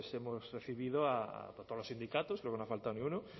hemos recibido a todos los sindicatos creo que no ha faltado ni uno